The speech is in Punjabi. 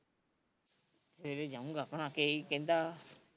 ਸਵੇਰੇ ਜਾਊਗਾ ਆਪਣਾ ਕਿ ਈ ਕਹਿੰਦਾ